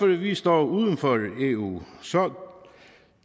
vi står uden for eu